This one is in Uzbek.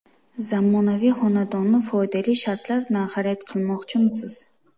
Zamonaviy xonadonni foydali shartlar bilan xarid qilmoqchimisiz?